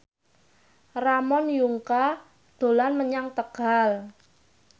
Ramon Yungka dolan menyang Tegal